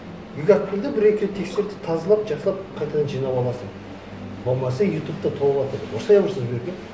екі ақ күнде бір екі рет тексертіп тазалап жақсылап қайтадан жинап аласың болмаса ютубта толыватыр ұрысып ұрысып жібергенмін